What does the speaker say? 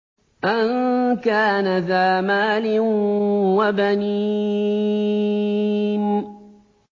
أَن كَانَ ذَا مَالٍ وَبَنِينَ